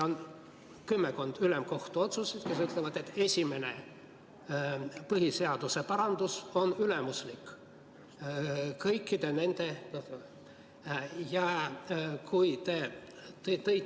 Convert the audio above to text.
On kümmekond ülemkohtu otsust, milles öeldakse, et esimene põhiseaduse parandus on ülimuslik kõikide nende.